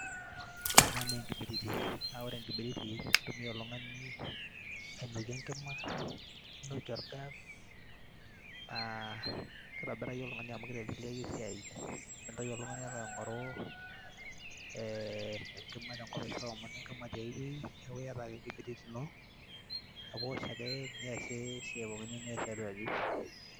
ore ena naa enkibiriti, ore enkibiriti naa keitumia oltung'ani ainokie enkima neinokie orgas naa keitobiraki oltung'ani amu keiteleleki esiai. mintoki oltung'ani alo aing'oru enkima tiai wueji neaku iata ake enkibiriti ino neaku iosh ake niasie esiai pookin niyieu tiatu aji.